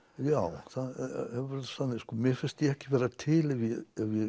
já það hefur verið þannig mér finnst ég ekki vera til ef ég